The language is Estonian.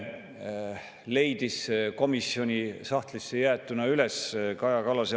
Toomas, kas oli nii?